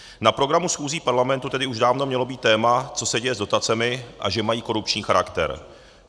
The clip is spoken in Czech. Na programu schůzí parlamentu tedy už dávno mělo být téma, co se děje s dotacemi a že mají korupční charakter.